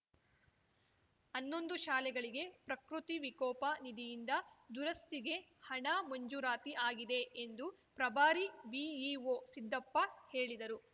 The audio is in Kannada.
ಹನ್ನೊಂದು ಶಾಲೆಗಳಿಗೆ ಪ್ರಕೃತಿ ವಿಕೋಪ ನಿಧಿಯಿಂದ ದುರಸ್ತಿಗೆ ಹಣ ಮಂಜೂರಾತಿ ಆಗಿದೆ ಎಂದು ಪ್ರಭಾರಿ ಬಿಇಒ ಸಿದ್ದಪ್ಪ ಹೇಳಿದರು